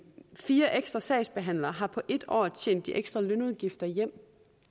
fire ekstra sagsbehandlere har på et år tjent de ekstra lønudgifter hjem